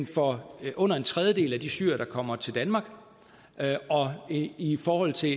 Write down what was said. for under en tredjedel af de syrere der kommer til danmark i forhold til